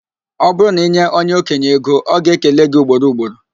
Ọ bụrụ na inye onye okenye ego, o ga-ekele gị ugboro ugboro